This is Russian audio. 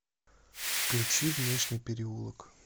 включи внешний переулок